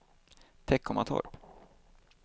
Teckomatorp